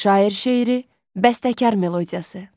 Şair şeiri, bəstəkar melodiyası.